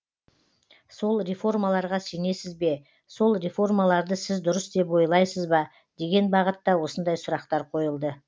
сол реформаларға сенесіз бе сол реформаларды сіз дұрыс деп ойласыз ба деген бағытта осындай сұрақтар қойылды